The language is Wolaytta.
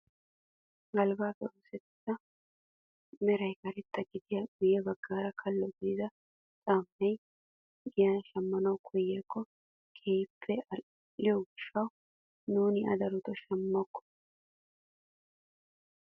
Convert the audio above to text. Galbbaappe oosettiyaa meran karetta gidida guye baggay kalo gidido caammay giyan shammanawu koyikko keehippe al"iyoo gishshawu nuuni a darotoo shamokko!